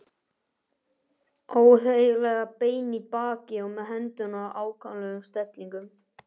Óeðlilega beinn í baki og með hendurnar í afkáralegum stellingum.